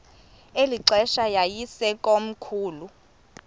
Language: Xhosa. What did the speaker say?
eli xesha yayisekomkhulu